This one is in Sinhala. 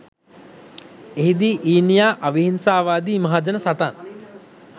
එහි දී ඊනියා අවිහිංසාවාදි මහජන සටන්